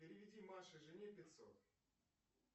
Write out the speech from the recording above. переведи маше жене пятьсот